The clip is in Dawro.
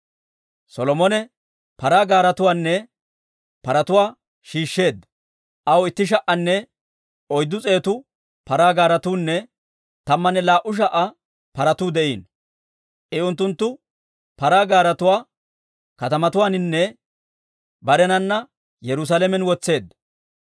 Solomone paraa gaaretuwaanne paratuwaa shiishsheedda; aw itti sha"anne oyddu s'eetu paraa gaaretuunne tammanne laa"u sha"a paratuu de'iino. I unttunttu paraa gaaretuwaa katamatuwaaninne barenana Yerusaalamen wotseedda.